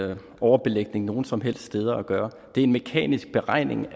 med overbelægning nogen som helst steder at gøre det er en mekanisk beregning